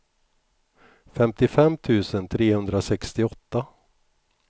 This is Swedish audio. femtiofem tusen trehundrasextioåtta